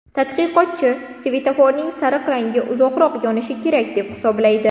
Tadqiqotchi svetoforning sariq rangi uzoqroq yonishi kerak deb hisoblaydi.